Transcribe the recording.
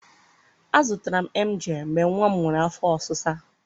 a zụtara m em gai mgbe nwa m nwere afọ ọsịsa